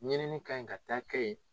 Ɲinini ka ɲi ka taa kɛ ye